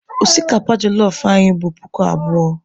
Osikapa jelọf anyị bụ puku abụọ.